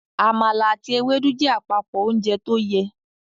Àmàlà àti Ewédú jẹ́ àpapọ ounjẹ tóyẹ